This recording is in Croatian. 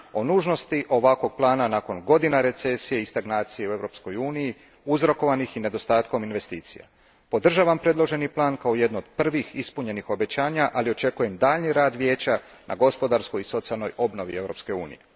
O nužnosti ovakvog plana nakon godina recesije i stagnacije u Europskoj uniji, uzrokovanih i niedostatkom investicija, podržavam predloženi plan kao jedno od prvih ispunjenih obećanja, ali očekujem daljnji rad Vijeća na gospodarskoj i socijalnoj obnovi Europske unije.